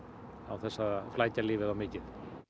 án þess að flækja lífið of mikið